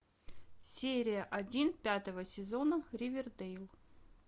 серия один пятого сезона ривердейл